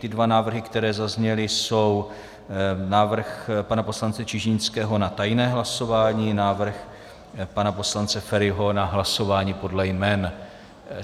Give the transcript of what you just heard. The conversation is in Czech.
Ty dva návrhy, které zazněly, jsou návrh pana poslance Čižinského na tajné hlasování, návrh pana poslance Feriho na hlasování podle jmen.